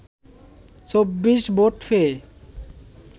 ২৪ vote পেয়ে